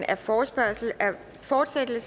er forslaget bortfaldet